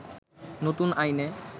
নতুন আইনে